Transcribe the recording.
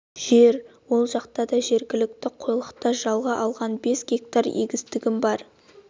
жер ол жақта да жеткілікті қойлықта жалға алған бес гектар егістігім бар